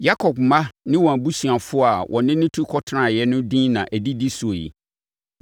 Yakob mma ne wɔn abusuafoɔ a wɔne no tu kɔtenaa no din na ɛdidi so yi.